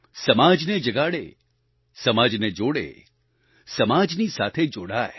સમાજને જગાડે સમાજને જોડે સમાજની સાથે જોડાય